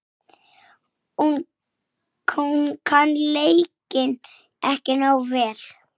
Á ég að hringja seinna?